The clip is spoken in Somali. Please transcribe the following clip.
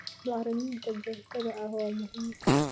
Bacriminta joogtada ah waa muhiim.